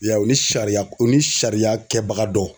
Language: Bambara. Ya ye ya u ni sariya u ni sariya kɛbaga dɔ.